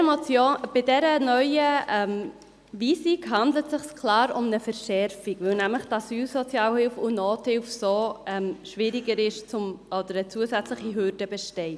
Bei der neuen Weisung handelt es sich klar um eine Verschärfung, weil damit für die Asylsozialhilfe und die Nothilfe eine zusätzliche Hürde besteht.